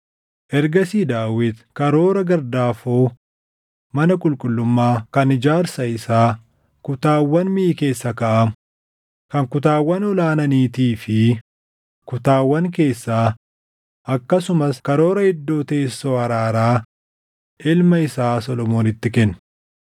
Ergasii Daawit karoora gardaafoo mana qulqullummaa, kan ijaarsa isaa, kutaawwan miʼi keessa kaaʼamu, kan kutaawwan ol aananiitii fi kutaawwan keessaa, akkasumas karoora iddoo teessoo araaraa ilma isaa Solomoonitti kenne.